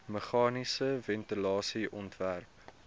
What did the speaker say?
meganiese ventilasie ontwerp